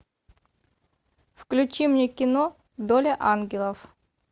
включи мне кино доля ангелов